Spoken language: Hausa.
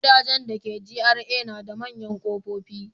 Gidajen dake GRA na da manyan kofofi.